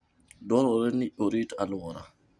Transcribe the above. Dwarore ni orit alwora.